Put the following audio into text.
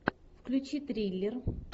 включи триллер